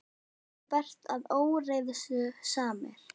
Það er líka bert að óreiðusamir